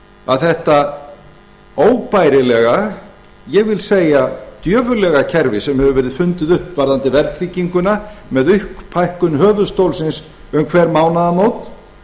að þetta óbærilega ég vil segja djöfullega kerfi sem hefur verið fundið upp varðandi verðtrygginguna með upphækkun höfuðstólsins um hver mánaðamót